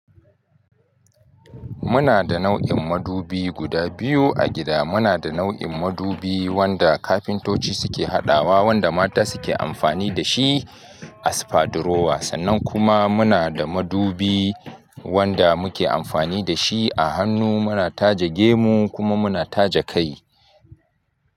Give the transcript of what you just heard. Muna da nau'in madubi guda biyu a gida. Muna da nau'in madubi wanda kafintoci suke haɗawa, wanda mata suke amfani da shi a spadurowa, sannan kuma muna da madubi wanda muke amfani da shi a hannu. Muna taje gemu kuma muna taje kai.